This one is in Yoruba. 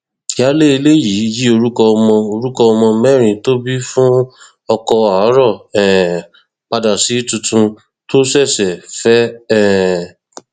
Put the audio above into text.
ìyáálé ilé yìí yí orúkọ ọmọ orúkọ ọmọ mẹrin tó bí fún ọkọ àárọ um padà sí tuntun tó ṣẹṣẹ fẹ um